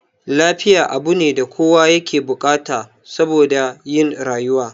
Lafiya abune da kowa yake bukata saboda yin rayuwa